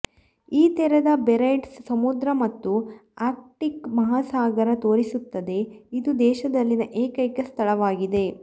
ಈ ತೆರೆದ ಬೇರೆಂಟ್ಸ್ ಸಮುದ್ರ ಮತ್ತು ಆರ್ಕ್ಟಿಕ್ ಮಹಾಸಾಗರ ತೋರಿಸುತ್ತದೆ ಇದು ದೇಶದಲ್ಲಿನ ಏಕೈಕ ಸ್ಥಳವಾಗಿದೆ